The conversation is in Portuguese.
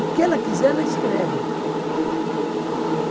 O que ela quiser, ela escreve.